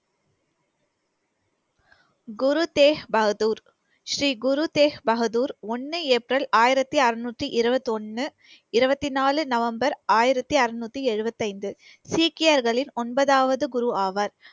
குரு தேக் பகதூர், ஸ்ரீ குரு தேக் பகதூர், ஒண்ணு ஏப்ரல் ஆயிரத்தி அறுநூத்தி இருபத்தி ஒண்ணு, இருபத்தி நாலு, நவம்பர், ஆயிரத்தி அறுநூத்தி எழுபத்தி ஐந்து. சீக்கியர்களின் ஒன்பதாவது குரு ஆவார்.